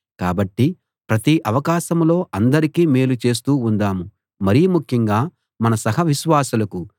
కాబట్టి ప్రతి అవకాశంలో అందరికీ మేలు చేస్తూ ఉందాం మరి ముఖ్యంగా మన సహ విశ్వాసులకు